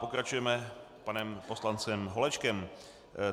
Pokračujeme panem poslancem Holečkem.